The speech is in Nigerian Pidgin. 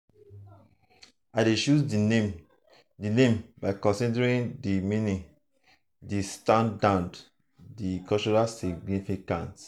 i dey choose di name di name by considering di meaning di soundand di cultural significance.